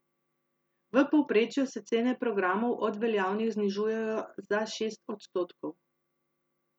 V povprečju se cene programov od veljavnih znižujejo za šest odstotkov.